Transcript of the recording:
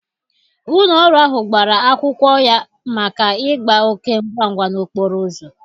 Ụlọ ọrụ ahụ gbara akwọ ya maka ịgba oke ngwangwa n'okporo ụzọ.